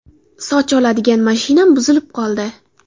Soch oladigan mashinam buzilib qoldi”.